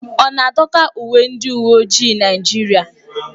Ọ na-adọka uwe ndị uwe ojii Naijiria?